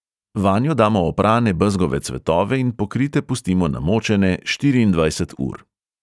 Vanjo damo oprane bezgove cvetove in pokrite pustimo namočene štiriindvajset ur.